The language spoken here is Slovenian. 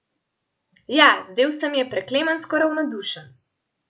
Ja, zdel se mi je preklemansko ravnodušen.